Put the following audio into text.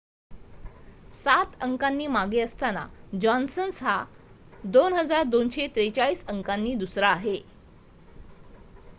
7 अंकांनी मागे असताना जॉन्सन हा 2,243 अंकांनी दुसरा आहे